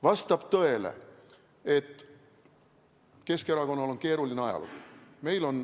Vastab tõele, et Keskerakonnal on keeruline ajalugu.